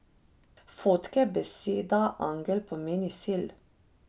Fotke Beseda angel pomeni sel.